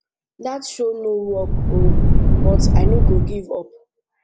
dat show no work oo but i no go give up